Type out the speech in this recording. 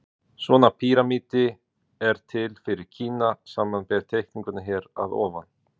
Svona píramídi er til fyrir Kína, samanber teikninguna hér að ofan.